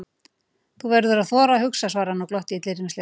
Þú verður að þora að hugsa svaraði hann og glotti illyrmislega.